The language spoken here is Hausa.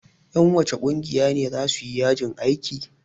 Ƴan wacce ƙungiya ne za su yi yajin aiki?